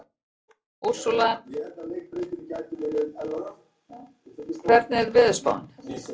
Úrsúla, hvernig er veðurspáin?